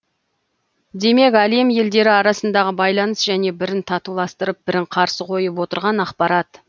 демек әлем елдері арасындағы байланыс және бірін татуластырып бірін қарсы қойып отырған ақпарат